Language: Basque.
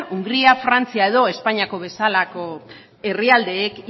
hungaria frantzia edo espainiako bezalako herrialdeek